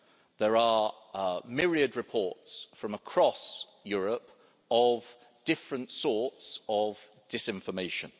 There are myriad reports from across Europe of different sorts of disinformation.